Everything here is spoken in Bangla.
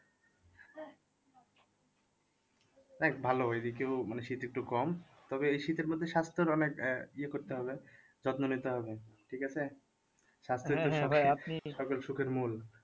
ভালো এদিকেও মানে শীত একটু কম তবে এই শীতের মধ্যে স্বাস্থ্যের অনেক আহ ইয়ে করতে হবে যত্ন নিতে হবে ঠিক আছে?